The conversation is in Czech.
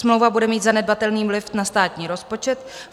Smlouva bude mít zanedbatelný vliv na státní rozpočet.